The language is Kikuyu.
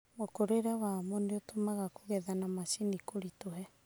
Mũkũrĩre wamo nĩũtũmaga kũge. etha na macini kũritũhe.